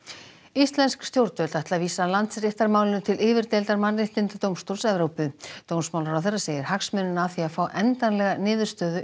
íslensk stjórnvöld ætla að vísa Landsréttarmálinu til yfirdeildar Mannréttindadómstóls Evrópu dómsmálaráðherra segir að hagsmunirnir af því að fá endanlega niðurstöðu